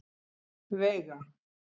Veiga